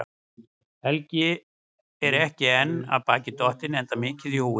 Helgi er ekki enn af baki dottinn, enda mikið í húfi.